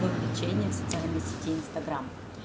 вовлечение в социальной сети инстаграм